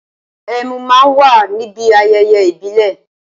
Ẹmu má á ń wà níbi ayẹyẹ ìbílè